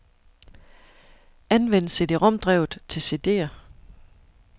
Anvend cd-rom-drevet til cd'er.